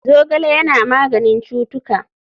Zogale Yana maganin cutuka.